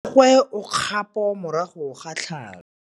Mmagwe o kgapô morago ga tlhalô.